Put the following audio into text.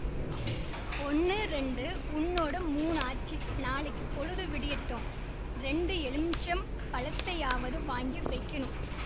ஒண்ணு ரெண்டு உன்னோட மூணு ஆச்சு நாளைக்கிப் பொழுது விடியட்டும் ரெண்டு எலுமிச்சம் பழத்தையாவது வாங்கி வெக்கணும்